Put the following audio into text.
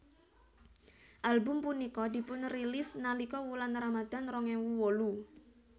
Album punika dipunrilis nalika wulan Ramadhan rong ewu wolu